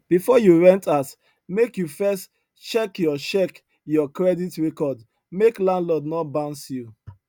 before you rent house make you first check your check your credit record make landlord no bounce you